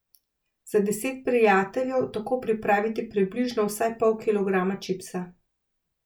Za deset prijateljev tako pripravite približno vsaj pol kilograma čipsa.